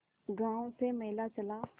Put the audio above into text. गांव से मेला चला